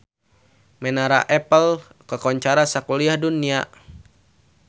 Menara Eiffel kakoncara sakuliah dunya